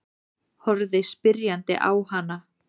Horfði spyrjandi á hana.